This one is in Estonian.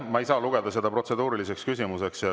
Ma ei saa lugeda seda protseduuriliseks küsimuseks.